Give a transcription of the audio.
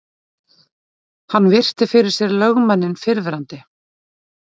Hann virti fyrir sér lögmanninn fyrrverandi.